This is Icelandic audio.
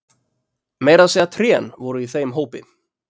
Meira að segja trén voru í þeim hópi.